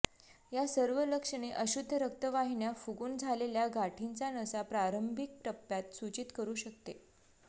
या सर्व लक्षणे अशुद्ध रक्तवाहिन्या फुगून झालेल्या गाठींचा नसा प्रारंभिक टप्प्यात सूचित करू शकते